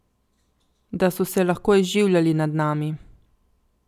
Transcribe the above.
Da so se lahko izživljali nad nami.